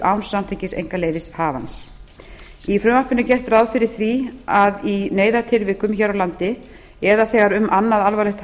án samþykkis einkaleyfishafans í frumvarpinu er gert ráð fyrir því að í neyðartilvikum hér á landi eða þegar um annað alvarlegt